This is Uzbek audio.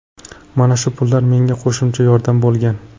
Mana shu pullar menga qo‘shimcha yordam bo‘lgan.